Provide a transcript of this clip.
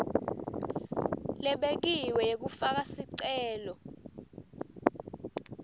lebekiwe yekufaka sicelo